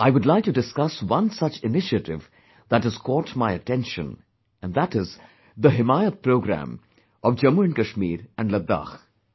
I would like to discuss one such initiative that has caught my attention and that is the 'Himayat Programme'of Jammu Kashmir and Ladakh